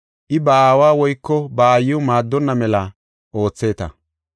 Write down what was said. I ba aawa woyko ba aayiw maaddonna mela ootheeta.